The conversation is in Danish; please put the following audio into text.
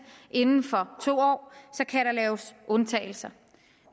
inden for to år kan der laves undtagelser